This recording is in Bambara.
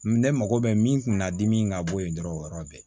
Ne mago bɛ min kun na dimi ka bɔ yen dɔrɔn o yɔrɔ bɛɛ